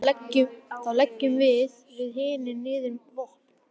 Þá leggjum við hinir niður vopn.